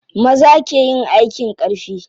Maza ke yin aikin ƙarfi.